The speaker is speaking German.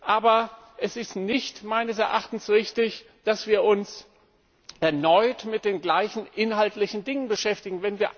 Aber es ist meines Erachtens nicht richtig, dass wir uns erneut mit den gleichen inhaltlichen Dingen beschäftigen.